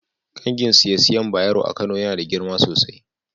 kangin siye-siyen Bayero a Kano Yana da girma sosai.